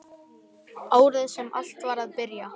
Árið sem allt var að byrja.